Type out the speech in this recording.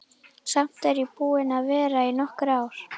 Samt er ég búin að vera í nokkur ár.